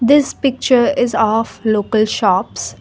this picture is of local shops.